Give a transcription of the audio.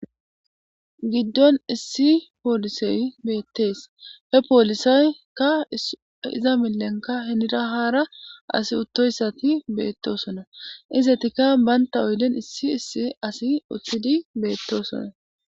giddon issi poolisey beettees he poolisaykka iza millenka henira haara asi uttoyssati beettosona izetikka banta oylen issi issi asi uththidi beettosona